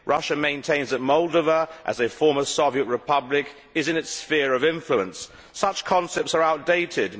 Russia maintains that Moldova, as a former Soviet Republic, is in its sphere of influence. Such concepts are outdated.